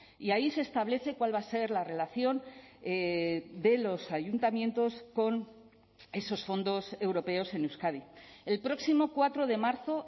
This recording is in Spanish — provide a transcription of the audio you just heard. y ahí se establece cuál va a ser la relación de los ayuntamientos con esos fondos europeos en euskadi el próximo cuatro de marzo